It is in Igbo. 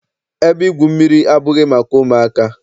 Ebe igwu mmiri abụghị maka ụmụaka.